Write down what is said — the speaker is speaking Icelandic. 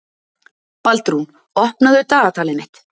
Baldrún, opnaðu dagatalið mitt.